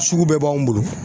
Sugu bɛɛ b'anw bolo